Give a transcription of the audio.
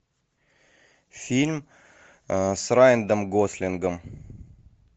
фильм с райаном гослингом